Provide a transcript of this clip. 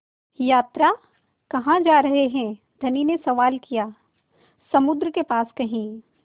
यात्रा कहाँ जा रहे हैं धनी ने सवाल किया समुद्र के पास कहीं